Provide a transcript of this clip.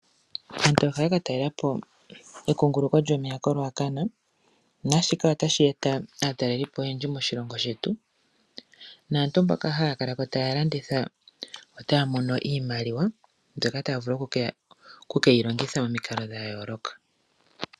Aantu ohaya ka talela po ekunguluko lyomeya koRuacana, naashika otashi eta aatalelipo oyendji moshilongo shetu. Naantu mpoka haya kala ko taya landitha otaya mono iimaliwa mbyoka taya vulu oku keyi longitha momikalo dha yooloka.